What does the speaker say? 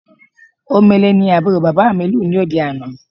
Omele ni àbúrò bàbà mi lù ní òde àná